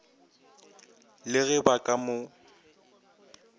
le ge ba ka mo